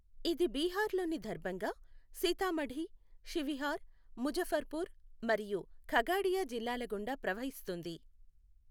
ఇది బీహార్లోని దర్భంగా, సీతామఢీ, షివిహార్, ముజఫర్పూర్ మరియు ఖగడియా జిల్లాల గుండా ప్రవహిస్తుంది.